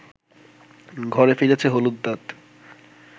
ঘরে ফিরেছে হলুদ দাঁত